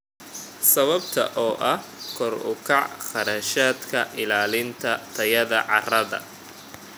Sababta oo ah kor u kaca kharashaadka ilaalinta tayada carrada.